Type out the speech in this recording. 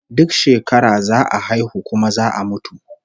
Duk shekara za a haihu kuma za a mutu